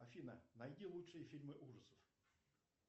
афина найди лучшие фильмы ужасов